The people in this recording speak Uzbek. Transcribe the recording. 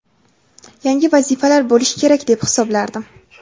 yangi vazifalar bo‘lishi kerak deb hisoblardim.